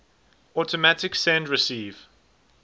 automatic send receive